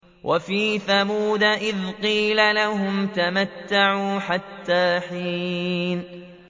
وَفِي ثَمُودَ إِذْ قِيلَ لَهُمْ تَمَتَّعُوا حَتَّىٰ حِينٍ